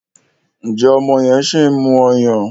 njé ọmọ yen sìn mú ọyàn?